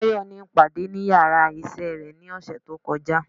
Tayo ní ipadé ní ìyára iṣẹ re ní osé to kojá